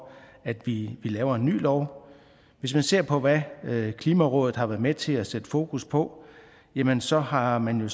at vi laver en ny lov hvis man ser på hvad klimarådet har været med til at sætte fokus på jamen så har man jo